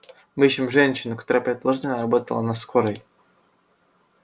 мы ищем женщину которая предположительно работала на скорой